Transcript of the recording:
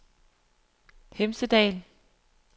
Hemsedal